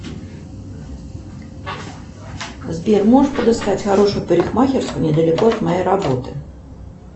сбер можешь подыскать хорошую парикмахерскую недалеко от моей работы